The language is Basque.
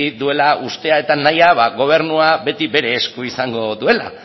duela uste eta nahia gobernua beti bere esku izango duela